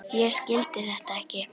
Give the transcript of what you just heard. Ég skildi þetta ekki.